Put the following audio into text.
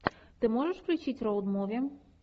ты можешь включить роуд муви